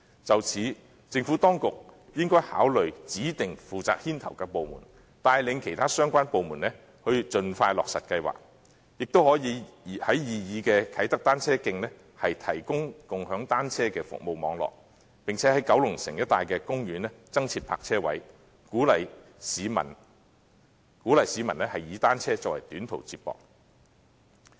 就此，政府當局應該考慮指定負責牽頭的部門，帶領其他相關部門盡快落實計劃，亦可以在擬議的啟德單車徑提供共享單車的服務網絡，並且在九龍城一帶的公園增設單車泊車位，鼓勵市民以單車作為短途接駁工具。